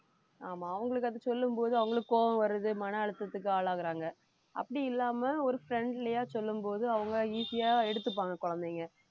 ஆமா அவங்களுக்கு அதை சொல்லும் போது அவங்களுக்கு கோபம் வர்றது மன அழுத்தத்துக்கு ஆளாகுறாங்க அப்படி இல்லாம ஒரு friendly யா சொல்லும் போது அவங்க easy யா எடுத்துப்பாங்க குழந்தைங்க